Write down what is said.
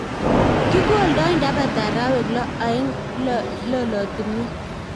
Kikoldoi ndapata arawek loo eng' lolotinwek